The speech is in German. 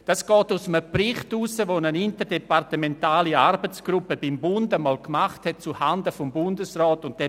Dies geht aus einem Bericht hervor, den eine interdepartementale Arbeitsgruppe beim Bund einmal zuhanden des Bundesrats verfasst hat.